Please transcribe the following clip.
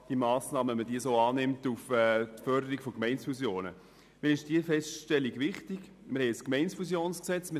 Wir haben ein Gesetz zur Förderung von Gemeindezusammenschlüssen (Gemeindefusionsgesetz, GFG).